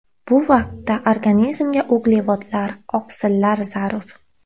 Bu vaqtda organizmga uglevodlar, oqsillar zarur.